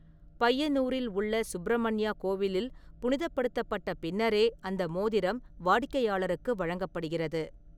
பையனூரில் உள்ள சுப்ரமண்யா கோவிலில் புனிதப்படுத்தப்பட்ட பின்னரே அந்த மோதிரம் வாடிக்கையாளருக்கு வழங்கப்படுகிறது.